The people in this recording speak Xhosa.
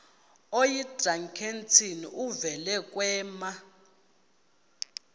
oyidrakenstein uvele kwema